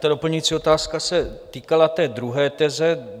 Ta doplňující otázka se týkala té druhé teze.